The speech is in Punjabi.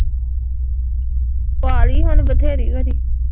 ਪਾਲੀ ਹੁਣ ਬਥੇਰੀ ਵਾਰੀ